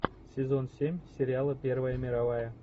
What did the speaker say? сезон семь сериала первая мировая